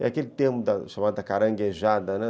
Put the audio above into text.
É aquele termo chamado da caranguejada, né?